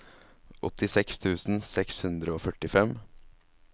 åttiseks tusen seks hundre og førtifem